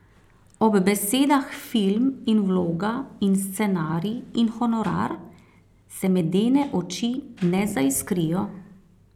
Ob besedah film in vloga in scenarij in honorar se medene oči ne zaiskrijo.